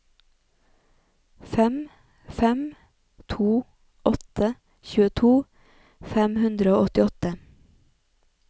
fem fem to åtte tjueto fem hundre og åttiåtte